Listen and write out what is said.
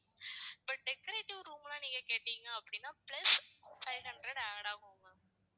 but decorative room எல்லாம் நீங்க கேட்டீங்க அப்படின்னா plus five hundred add ஆகும் ma'am